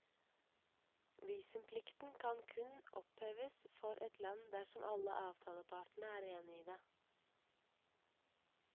Visumplikten kan kun oppheves for et land dersom alle avtalepartene er enige i det.